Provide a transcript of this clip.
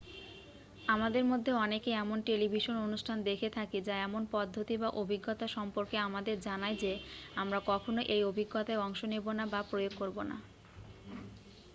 আমাদের মধ্যে অনেকে এমন টেলিভিশন অনুষ্ঠান দেখে থাকি যা এমন পদ্ধতি বা অভিজ্ঞতা সম্পর্কে আমাদের জানায় যে আমরা কখনও ওই অভিজ্ঞতায় অংশ নেব না বা প্রয়োগ করব না